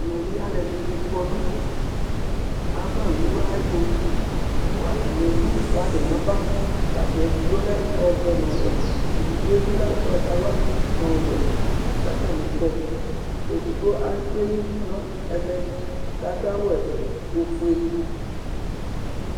Aluɛɖɩŋɩ ƙɔ ŋʊ avawʊ aƴɛtoʊ, ƙatani ému ŋʊ flag nava Ƒlag éɖigbo lɛ ɔʋɛ ŋʊ ɔwɛ, éɖigbo lɛ ʊgbatawla nʊ ɔwɛ Ƙatani kɔ Édigɓobi éƙpé ɩdu nɛmɛ ƙadʊ awu ofoé